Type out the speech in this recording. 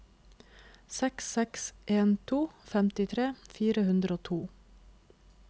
seks seks en to femtitre fire hundre og to